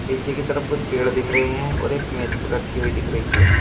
पीछे की तरफ कुछ पेड़ दिख रहे हैं और एक मेज रखी हुई दिख रही है।